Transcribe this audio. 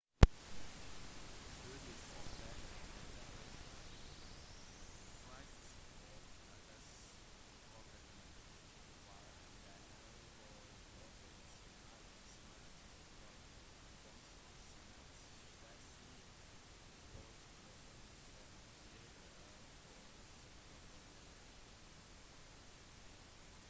studiet oppdaget at depresjon frykt og katastrofetenkning var en del av forholdet mellom smerte og funksjonsnedsettelse hos personer som lider av korsryggproblemer